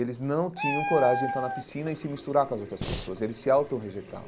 Eles não tinham coragem de entrar na piscina e se misturar com as outras pessoas, eles se autorrejeitavam.